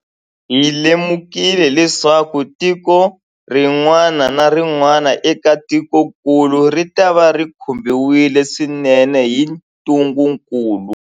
Hi lemukile leswaku tiko rin'wana na rin'wana eka tikokulu ritava ri khumbiwile swinene hi ntungukulu.